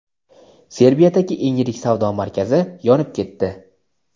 Serbiyadagi eng yirik savdo markazi yonib ketdi.